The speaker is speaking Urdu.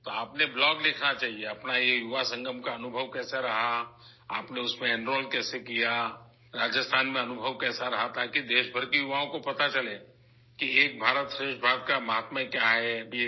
تو آپ کو ایک بلاگ لکھنا چاہیے، اس یووا سنگم کا آپ کا تجربہ کیسا رہا، آپ نے اس میں کیسے داخلہ لیا، راجستھان میں آپ کا تجربہ کیسا رہا، تاکہ ملک کے نوجوانوں کو ایک بھارت شریشٹھ بھارت کی عظمت کا پتہ چل سکے